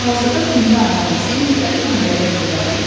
Hazırda dünya əhalisi müxtəlif dinlərə etiqad edir.